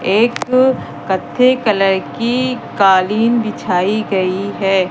एक कत्थे कलर की कालीन बिछाई गई है।